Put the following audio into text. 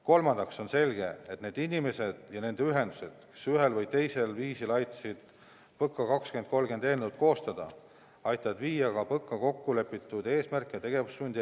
Kolmandaks: on selge, et need inimesed ja nende ühendused, kes ühel või teisel viisil aitasid PõKa 2030 eelnõu koostada, aitavad ellu viia ka PõKa kokkulepitud eesmärke ja tegevussuundi.